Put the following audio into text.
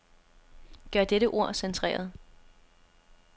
Gør dette ord centreret.